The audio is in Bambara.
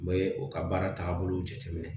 N bɛ u ka baara taabolo jateminɛ